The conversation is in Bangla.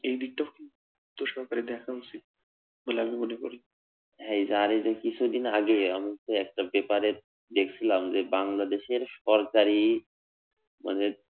এই দিকটাও কিন্তু দায়িত্বসহকারে দেখা উচিত বলে আমি মনে করি, হ্যা এই আর এই যে কিছুদিন আগে আমি তো একটা পেপার এ দেখছিলাম যে বাংলাদেশের সরকারি মানে